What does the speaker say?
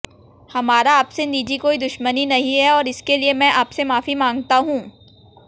हमारा आपसे निजी कोई दुश्मनी नहीं है और इसके लिए मैं आपसे माफी मांगता हूं